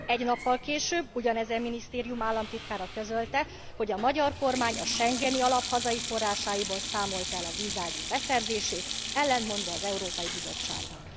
Egy nappal később ugyanezen minisztérium államtitkára közölte, hogy a magyar kormány a schengeni alap hazai forrásaiból számolta el a vízágyúk beszerzését, ellentmondva az Európai Bizottságnak.